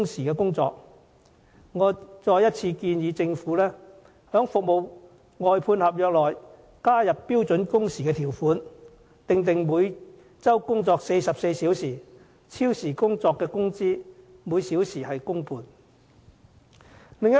我再次建議政府在服務外判合約裏加入標準工時的條款，訂定每周工作44小時，超時工作的工資每小時按工半計算。